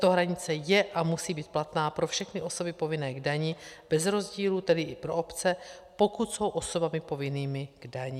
Tato hranice je a musí být platná pro všechny osoby povinné k dani bez rozdílu, tedy i pro obce, pokud jsou osobami povinnými k dani.